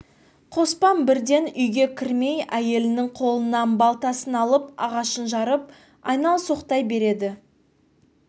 қоспан бірден үйге кірмей әйелінің қолынан балтасын алып ағаш жарып айналсоқтай береді